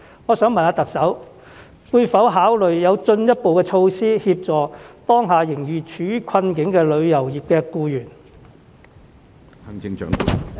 我想問特首會否考慮有進一步措施，協助當下仍然處於困境的旅遊業僱員？